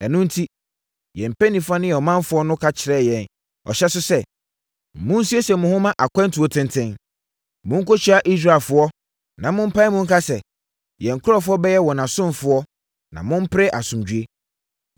Ɛno enti, yɛn mpanimfoɔ ne ɔmanfoɔ no ka kyerɛɛ yɛn ɔhyɛ so sɛ, ‘Monsiesie mo ho mma akwantuo tenten. Monkɔhyia Israelfoɔ na mompae mu nka sɛ, “Yɛn nkurɔfoɔ bɛyɛ wɔn asomfoɔ na mompere asomdwoeɛ.” ’